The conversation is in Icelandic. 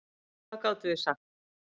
En hvað gátum við sagt?